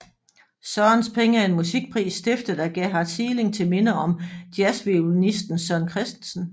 Sørens penge er en musikpris stiftet af Gerhard Sieling til minde om jazzviolinisten Søren Christensen